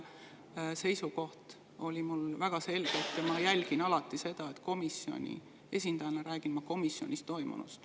Seisukoht oli mul väga selge ja ma jälgin alati seda, et ma komisjoni esindajana räägin komisjonis toimunust.